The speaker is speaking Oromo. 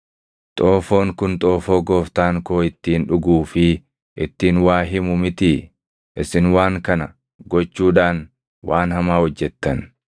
Xoofoon kun xoofoo gooftaan koo ittiin dhuguu fi ittiin waa himu mitii? Isin waan kana gochuudhaan waan hamaa hojjettan.’ ”